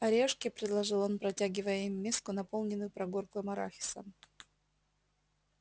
орешки предложил он протягивая им миску наполненную прогорклым арахисом